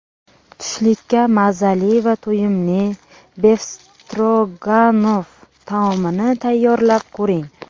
Tushlikka mazali va to‘yimli befstroganov taomini tayyorlab ko‘ring.